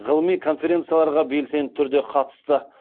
ғылыми конференцияларға белсенді түрде қатысты